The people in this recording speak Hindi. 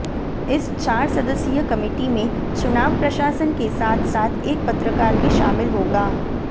इस चार सदस्यीय कमेटी में चुनाव प्रशासन के साथ साथ एक पत्रकार भी शामिल होगा